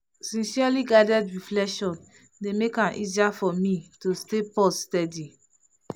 sincerely guided reflection dey make am easier for me to stay pause steady.